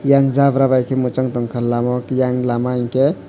e ang jabra bai ke muchang tangkha lamao ke eyang lama hingke.